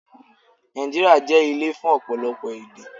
Nàìjíríà jẹ́ ilé fún ọ̀pọ̀lọpọ̀ èdè